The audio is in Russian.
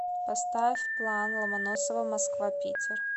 поставь план ломоносова москва питер